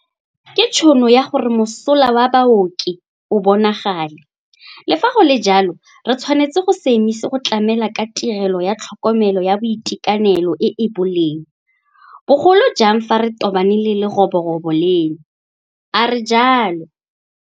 Ke tšhono ya gore mosola wa baoki o bonagale, le fa go le jalo re tshwanetse go se emise go tlamela ka tirelo ya tlhokomelo ya boitekanelo e e boleng, bo golojang fa re tobane le leroborobo leno, a re jalo.